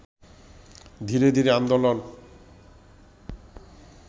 ধীরে ধীরে আন্দোলন